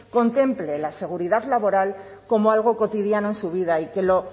contemple la seguridad laboral como algo cotidiano en su vida y